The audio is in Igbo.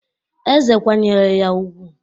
Eze kwanyere ya ugwu